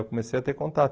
Eu comecei a ter contato.